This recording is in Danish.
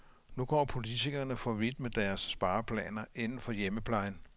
Nu går politikerne for vidt med deres spareplaner inden for hjemmeplejen.